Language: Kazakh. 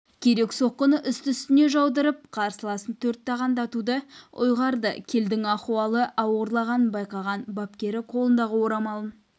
керек соққыны үсті-үстіне жаудырып қарсыласын төрт тағандатуды ұйғарды келлдің ахуалы ауырлағанын байқаған бапкері қолындағы орамалын